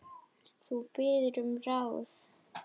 Þú biður um ráð.